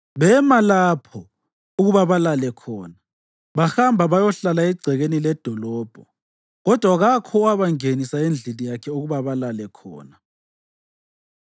Bema lapho ukuba balale khona. Bahamba bayahlala egcekeni ledolobho, kodwa kakho owabangenisa endlini yakhe ukuba balale khona.